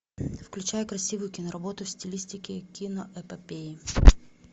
включай красивую киноработу в стилистике киноэпопеи